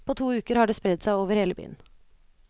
På to uker har det spredd seg over hele byen.